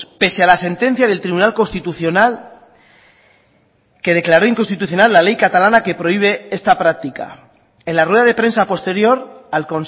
pese a la sentencia del tribunal constitucional que declaró inconstitucional la ley catalana que prohíbe esta práctica en la rueda de prensa posterior al